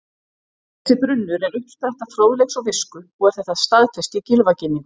Þessi brunnur er uppspretta fróðleiks og visku og er þetta staðfest í Gylfaginningu: